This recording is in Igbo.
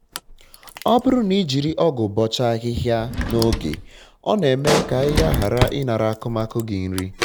ọ bụrụ na ijiri ọgụ bọcha ahịhịa na oge ọ na-eme ka ahịhịa ghara ịnara akụmakụ gị nri